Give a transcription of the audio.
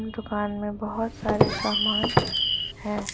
दुकान में बहोत सारे सामान है।